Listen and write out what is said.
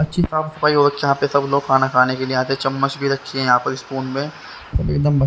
अच्छी साफ सफाई हो जहां पे सबलोग खाना खाने के लिए आते हैं चम्मच भी रखी है यहां पे स्पून में अ--